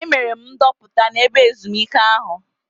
Emere m ndoputa n'ebe ezumike ahụ.